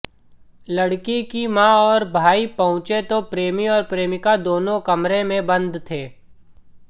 लड़की की मां और भाई पहुंचे तो प्रेमी और प्रेमिका दोनों कमरे में बंद थे